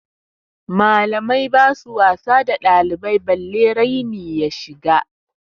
Malamai basu wasa da ɗalibai balle raini ya shiga.